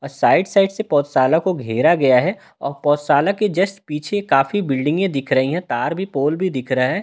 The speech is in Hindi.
साइड साइड से पोशाला को घेरा गया है और पोशाला के जस्ट पीछे काफी बिल्डिंगें दिख रही है तार भी पोल भी दिख रहा है और एक मंदिर--